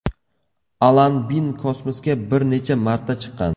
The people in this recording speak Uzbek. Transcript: Alan Bin kosmosga bir necha marta chiqqan.